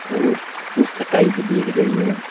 और भी दिख रही है।